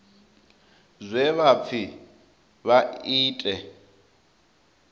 zwe vha pfi vha ite